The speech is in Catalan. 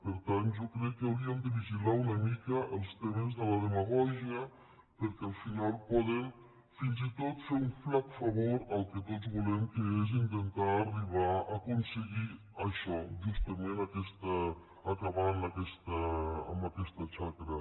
per tant jo crec que hauríem de vigilar una mica els temes de la demagògia perquè al final poden fins i tot fer un flac favor al que tots volem que és intentar arribar a aconseguir això justament acabar amb aquesta xacra